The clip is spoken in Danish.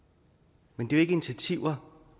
men det er jo ikke initiativer